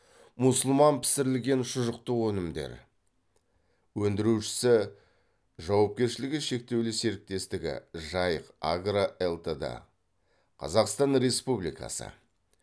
мұсылман пісірілген шұжықтық өнімдер өндіруші жауапкершілігі шектеулі серіктестігі жайық агро элтд қазақстан республикасы